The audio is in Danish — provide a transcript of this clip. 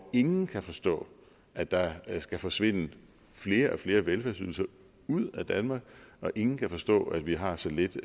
ingen kan forstå at der skal forsvinde flere og flere velfærdsydelser ud af danmark og ingen kan forstå at vi har så lidt